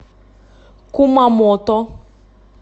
кумамото